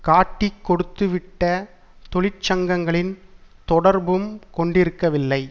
காட்டிக் கொடுத்துவிட்ட தொழிற்சங்கங்களின் தொடர்பும் கொண்டிருக்கவில்லை